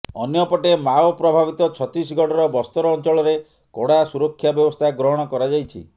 ଅନ୍ୟପଟେ ମାଓ ପ୍ରଭାବିତ ଛତିଶଗଡ଼ର ବସ୍ତର ଅଞ୍ଚଳରେ କଡ଼ା ସୁରକ୍ଷା ବ୍ୟବସ୍ଥା ଗ୍ରହଣ କରାଯାଇଛି